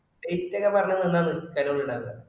date ഒക്കെ പറഞ്ഞനാണെന്നാണ് പരിപാട് ഇണ്ടാക്കാ